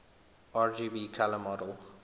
rgb color model